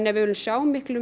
við viljum sjá miklu